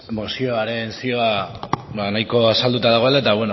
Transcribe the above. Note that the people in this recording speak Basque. mozioaren zioa nahiko azalduta dagoela eta